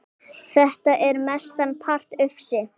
Þetta er mestan part ufsi